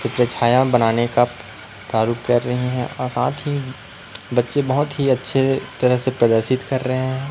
चित्र छाया बनाने का प्रारूप कर रहीं है और साथ ही बच्चे बहोत ही अच्छे तरह से प्रदर्शित कर रहे है।